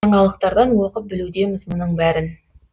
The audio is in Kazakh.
жаңалықтардан оқып білудеміз мұның бәрін